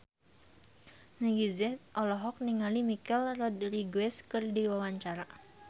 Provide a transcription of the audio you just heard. Meggie Z olohok ningali Michelle Rodriguez keur diwawancara